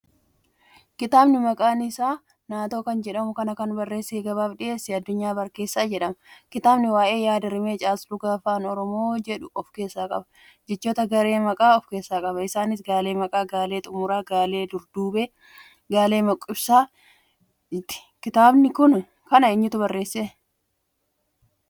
Kitaabni maqaan isaa naatoo kan jedhamu kana kan barreessee gabaaf dhiheesse Addunyaa Barkeessaa jedhama. kitaabni waa'ee yaadrimee caaslugaa Afaan Oromoo jedhuu ofkeessaa qaba. jechoota garee Maqaa tahaa ofkeessaa qaba. isaanis gaalee Maqaa, gaalee maqibsaa, galeee durduubee, gaalee gochimaa kan ibsuudha kitaaba kana eenyutu barreesse?